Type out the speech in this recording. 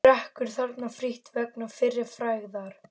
Drekkur þarna frítt vegna fyrri frægðar.